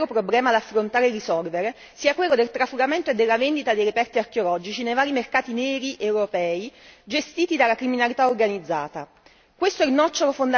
Ritengo, infatti, che il vero problema da affrontare e risolvere sia quello del trafugamento e della vendita di reperti archeologici nei vari mercati neri europei gestiti dalla criminalità organizzata.